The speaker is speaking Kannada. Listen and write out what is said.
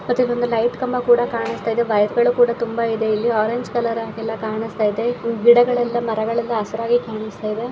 ಮತ್ತೆ ಒಂದು ಲೈಟ್ ಕಂಬ ಕೂಡ ಕಾಣುಸ್ತಾಯಿದೆ ವೈರ್ ಗಳು ಕೂಡ ತುಂಬ ಇದೆ ಇಲ್ಲಿ ಆರೆಂಜ್ ಕಲರ್ ಹಾಗೆ ಎಲ್ಲಾ ಕಾಣುಸ್ತಾಯಿದೆ ಗಿಡಗಳೆಲ್ಲ ಮರಗಳೆಲ್ಲ ಹಸುರಾಗಿ ಕಾಣುಸ್ತಾಯಿದೆ.